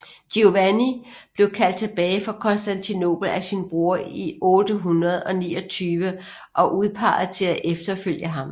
Giovanni blev kaldt tilbage fra Konstantinopel af sin bror i 829 og udpeget til at efterfølge ham